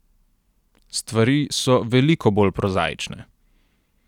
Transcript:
Stvari so veliko bolj prozaične.